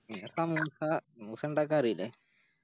പിന്നെ സമൂസ സമൂസ ഇണ്ടാക്കാനറില്ലേ